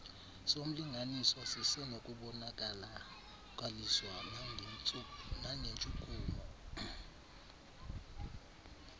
somlinganiswa sisenokubonakaliswa nangentshukumo